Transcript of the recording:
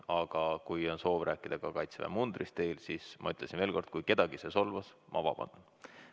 Aga kui on soov rääkida Kaitseväe mundrist, siis ma ütlen veel kord: kui see kedagi solvas, siis ma vabandan.